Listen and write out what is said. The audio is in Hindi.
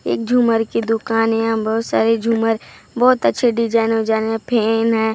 एक झूमर की दुकान है यहाँ पर बहुत सारे झूमर बहुत अच्छे डिज़ाइन विजाइन हैं फैन हैं।